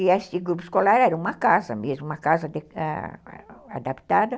E esse grupo escolar era uma casa mesmo, uma casa adaptada.